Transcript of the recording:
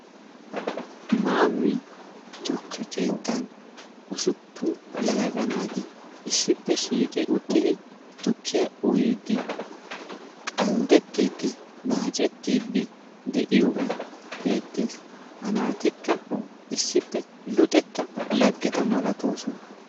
Maammi tukke keettan usuppun yelaga naati issippe shiiqi uttidi tukkiya uyiiddi qalddettiiddi naacettiiddi de"iyogee beettes. Ha naatikka issippe luxetta laggeta malatoosona.